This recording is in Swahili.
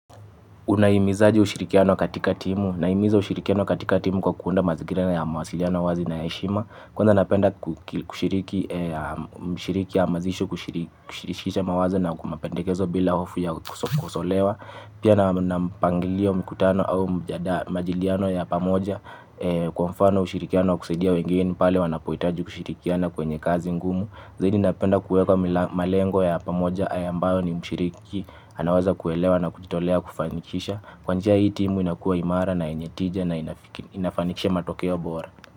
Unaimizaje ushirikiano katika timu. Naimiza ushirikiano katika timu kwa kuunda mazingira ya mawasiliano wazi na ya heshima. Kwanza napenda kushiriki hamazisho kushirikisha mawazo na kwa mapendekezo bila hofu ya kukosolewa. Pia na mpangilio mikutano au majadiliano ya pamoja kwa mfano ushirikiano kusaidia wengeni pale wanapoitaji kushirikiana kwenye kazi ngumu. Zaidi napenda kuweka malengo ya pamoja ambayo mshiriki anawaza kuelewa na kuchitolea kufanikisha. Kwa njia hii timu inakua imara na yenye tija na inafanikisha matokeo bora.